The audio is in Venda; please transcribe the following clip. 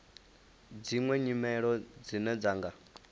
dziṅwe nyimelo dzine dza nga